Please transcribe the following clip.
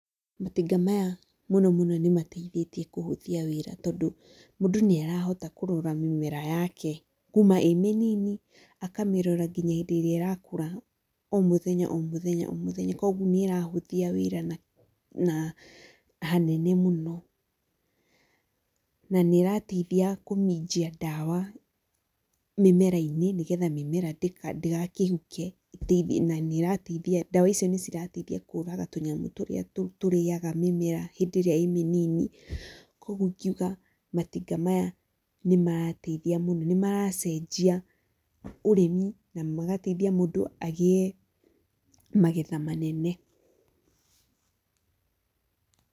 Matinga maya mũno mũno nĩ mateithĩtie kũhũthia wĩra tondũ mũndũ nĩ arahota kũrora mĩmera yake kuma ĩmĩnini akamĩrora ngĩnya hindĩ ĩrĩa ĩrakũra o mũthenya o mũthenya kogũo nĩ ĩrahũthia wĩra na hanene mũno, na nĩ ĩrateithia kũminjia ndawa mĩmera-inĩ nĩgetha mĩmera ndĩgakĩhuke na ndawa icio nĩ cirateithia kũraga tũnyamũ tũrĩa tũrĩaga mĩmera hĩndĩ ĩrĩa ĩ mĩnini kogũo ingĩ uga matinga maya nĩ marateithia mũno nĩmaracenjia ũrĩmi na magateithia mũndũ agĩe magetha manene.